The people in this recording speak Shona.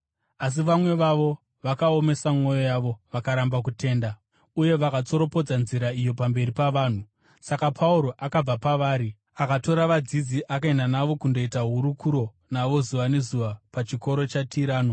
Asi vamwe vavo vakaomesa mwoyo yavo; vakaramba kutenda uye vakatsoropodza Nzira iyo pamberi pavanhu. Saka Pauro akabva pavari. Akatora vadzidzi akaenda navo akandoita hurukuro navo zuva nezuva pachikoro chaTirano.